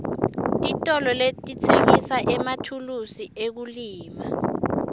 titolo letitsengisa emathulusi ekulima